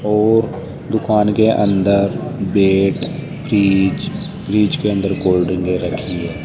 और दुकान के अंदर ब्रेड फ्रिज फ्रिज के अंदर कोल्डड्रिकें रखी है।